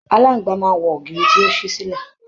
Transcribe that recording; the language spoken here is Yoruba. Aláàngbá máa n wọ ògiri tí o sílẹ.